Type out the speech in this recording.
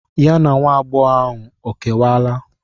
Ya na nwa agbọghọ ahụ ọ kewala?